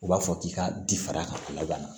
U b'a fɔ k'i ka di fara ka laban